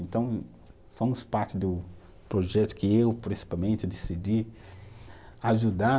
Então, somos parte do projeto que eu, principalmente, decidi ajudar